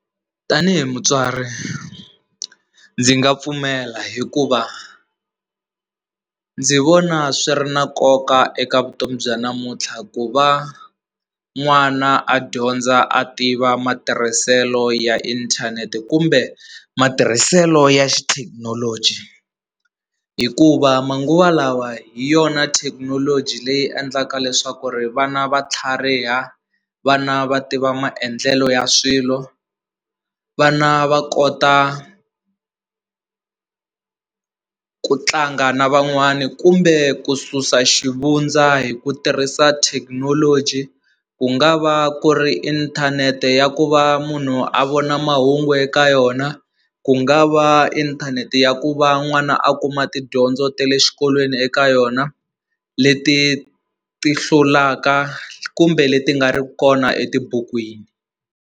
Tanihi mutswari ndzi nga pfumela hikuva ndzi vona swi ri na nkoka eka vutomi bya namuntlha ku va n'wana a dyondza a tiva matirhiselo ya inthanete kumbe matirhiselo ya xithekinoloji hikuva manguva lawa hi yona thekinoloji leyi endlaka leswaku ri vana va tlhariha vana va tiva maendlelo ya swilo vana va kota ku tlanga na van'wani kumbe ku susa xivundza hi ku tirhisa thekinoloji ku nga va ku ri inthanete ya ku va munhu a vona mahungu eka yona ku nga va inthanete ya ku va n'wana a kuma tidyondzo ta le xikolweni eka yona leti ti hlulaka kumbe leti nga ri kona etibukwini.